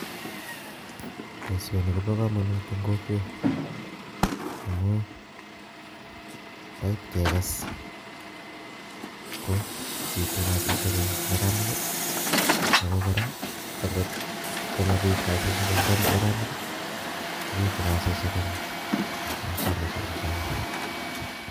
Boisoni kobo komonut eng' kokwet, amuu ndait kekes, ko bitu kasisihiek eng' neranik, ago kora angot komabit kasishiek eng' neranik, kobitu kasishiek eng' mashinishek chuchok